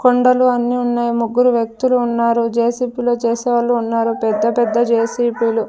కొండలు అన్ని ఉన్నాయి ముగ్గురు వ్యక్తులు ఉన్నారు జే_సీ_పీ లో చేసే వాళ్ళు ఉన్నారు పెద్ద పెద్ద జే_సీ_పీ లు .